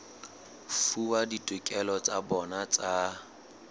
fuwa ditokelo tsa bona tsa